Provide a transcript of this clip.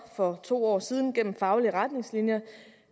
for to år siden gennem faglige retningslinjer